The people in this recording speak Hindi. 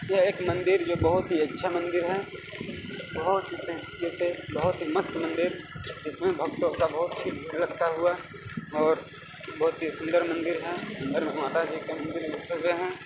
यह एक मंदिर ये बहोत ही अच्छा मंदिर है बहोत इसे इसे बहोत ही मस्त मंदिर जिसमें भक्तों का बहोत हुआ और बहोत ही सुंदर मंदिर है और माता जी का मंदिर है।